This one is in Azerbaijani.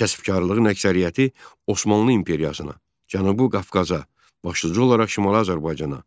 Kəsbkarlığın əksəriyyəti Osmanlı imperiyasına, Cənubu Qafqaza, başlıca olaraq Şimali Azərbaycana,